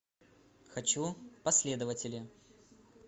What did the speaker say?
хочу последователи